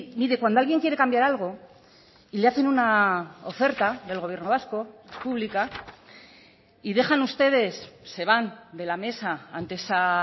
mire cuando alguien quiere cambiar algo y le hacen una oferta del gobierno vasco pública y dejan ustedes se van de la mesa ante esa